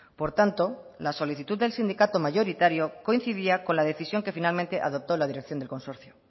por tanto la solicitud del sindicato mayoritario coincidía con la decisión que finalmente adoptó la dirección del consorcio